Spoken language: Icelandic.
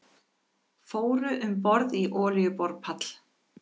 Fóru um borð í olíuborpall